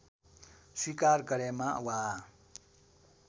स्वीकार गरेमा वा